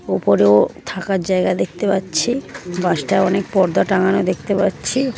ওপরেও থাকার জায়গা দেখতে পাচ্ছি বাসটা অনেক পর্দা টাঙানো দেখতে পাচ্ছি।